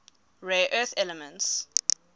rare earth elements